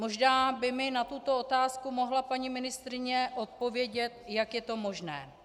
Možná by mi na tuto otázku mohla paní ministryně odpovědět, jak je to možné.